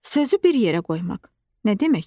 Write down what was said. Sözü bir yerə qoymaq nə deməkdir?